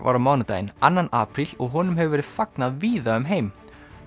var á mánudaginn annan apríl og honum hefur verið fagnað víða um heim